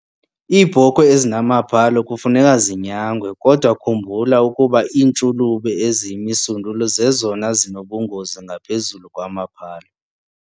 Iibhokhwe ezinamaphalo kufuneka zinyangwe kodwa khumbula ukuba iintshulube eziyimisundulu zezona zinobungozi ngaphezulu kwamaphalo.